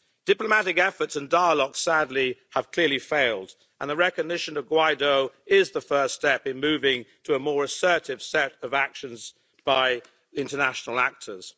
Diplomatic efforts and dialogue sadly have clearly failed and the recognition of Guaidó is the first step in moving to a more assertive set of actions by international actors.